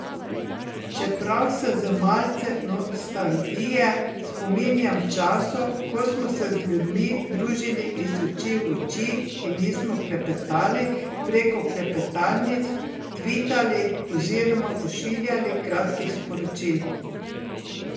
Čeprav se z malce nostalgije spominjam časov, ko smo se z ljudmi družili iz oči v oči in nismo klepetali preko klepetalnic, tvitali oziroma pošiljali kratkih sporočil.